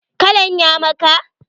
Kalan ya maka?